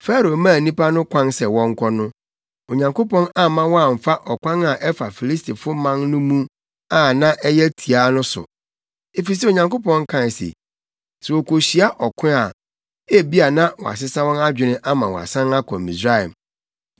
Farao maa nnipa no kwan sɛ wɔnkɔ no, Onyankopɔn amma wɔamfa ɔkwan a ɛfa Filistifo man no mu a na ɛyɛ tiaa no so. Efisɛ Onyankopɔn kae se, “Sɛ wokohyia ɔko a, ebia na wɔasesa wɔn adwene ama wɔasan akɔ Misraim.”